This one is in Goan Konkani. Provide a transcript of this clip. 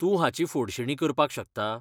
तूं हाची फोडणीशी करपाक शकता?